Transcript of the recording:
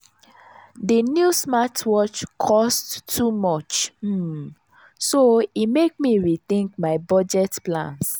di new smartwatch cost too much um so e mek me rethink my budget plans.